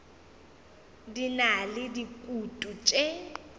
di na le dikutu tše